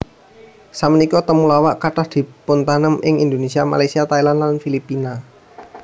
Samenika temulawak kathah dipuntanem ing Indonesia Malaysia Thailand lan Filipina